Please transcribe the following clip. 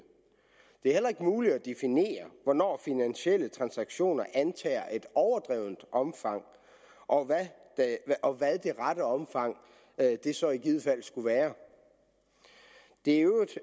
det er heller ikke muligt at definere hvornår finansielle transaktioner antager et overdrevent omfang og og hvad det rette omfang så i givet fald skulle være det er i øvrigt